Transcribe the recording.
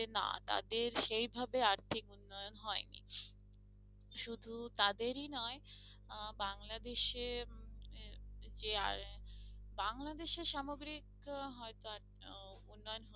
না তাদের সেইভাবে আর্থিক উন্নয়ন হয়নি শুধু তাদেরই নয় আহ বাংলাদেশে উম যে আহ বাংলাদেশে সামগ্রিক আহ উন্নয়ন